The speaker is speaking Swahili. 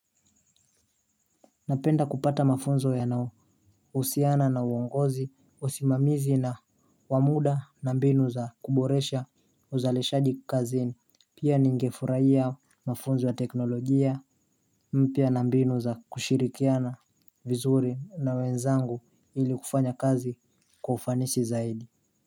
Napenda kupata mafunzo ya na usiana na uongozi usimamizi na wamuda na mbinu za kuboresha uzaleshaji kazini pia ningefurahia mafunzo ya teknolojia mpia na mbinu za kushirikiana vizuri na wenzangu ili kufanya kazi kwa ufanisi zaidi.